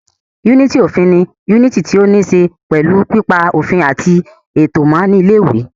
Yúnìtì òfin ni yúnìtì tí ó ní ṣe pẹ̀lú pípa òfin àti ètò mọ́ ní ilé ìwé